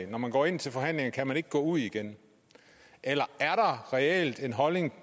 når man går ind til forhandlingerne kan man ikke gå ud igen eller er der reelt en holdning